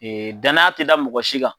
Danaya tɛ da mɔgɔ si kan.